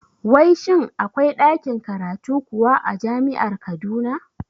Wai shin akwai ɗakin karatu kuwa a jami'ar Kaduna?